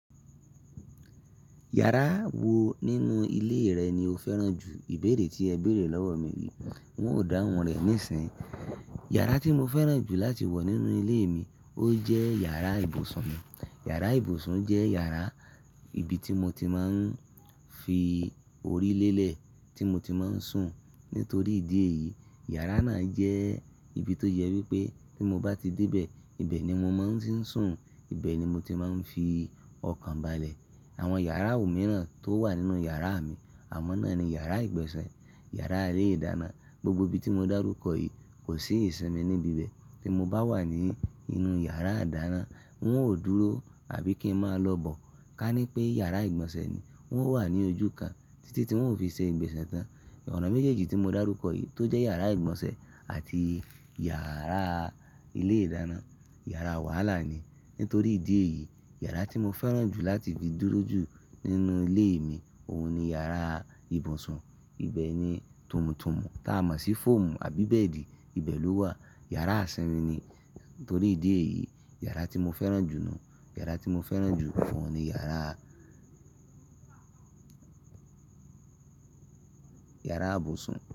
Yàrá wo nínú ilé rẹ ni o fẹ́ràn jù? Ìbéèrè tí ẹ béèrè lọ́wọ́ mi yí. N ò dáhùn rẹ̀ nisinyi. Yàrá tí mo fẹ́ràn jù láti wọ̀ nínú ilé mi ó jẹ́ yàrá ibùsùn mi. Yàrá ibùsùn jẹ́ yàrá ìbí tí mo ti máa ń fi orí lélẹ̀ tí mo ti máa ń sùn. Nítorí ìdí èyí, yàrá náà jẹ́ ibi tó jẹ wí pé tí mo bá ti dé bẹ, ibẹ̀ ni mo máa ń ti ń sùn, ibẹ̀ ni mo ti máa ń fi ọkàn balẹ̀. Àwọn yàrá òmíràn tó wà nínú yàrá mi, awon náà ni yàrá ìgbọ̀nsẹ̀, yàrá ilé-ìdáná. Gbogbo ibi tí mo dárúkọ yìí kò sí ìsinmi níbi ibẹ̀. Tí mo bá wà ní inú yàrá ìdáná, n óò dúró àbí kí ń máa lọ bọ̀. Ka ní pé yàrá ìgbọ̀nsẹ̀ ni, n ó wà ní ojú kan títí tí ń ó fi ṣe ìgbọ̀nsẹ́ tán. Ọ̀nà méjèèjì tí mo dárúkọ yìí tó jẹ́ yàrá ìgbọ̀nsẹ̀ àti yàrá ilé-ìdáná, yàrá wàhálà ni. Nítorí ìdí èyí, yàrá tí mo fẹ́ràn jù láti fi dúró ju nínú ilé mi, òun ni yàrá ibùsùn. Ibẹ̀ ni tómutùmù táa mọ̀ sí fọ́ọ̀mù àbí bẹ́ẹ̀dì, ibẹ̀ ló wà. Yàrá isinmi ni. Nítorí ìdí èyí, yàrá tí mo fẹ́ràn jù nù, yàrá tí mo fẹ́ràn jù oun ni yàrá, yàrá ibùsùn.